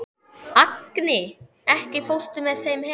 Agni, ekki fórstu með þeim?